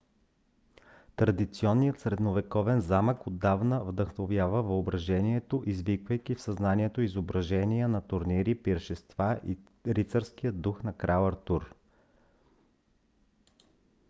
традиционният средновековен замък отдавна вдъхновява въображението извиквайки в съзнанието изображения на турнири пиршества и рицарския дух на крал артур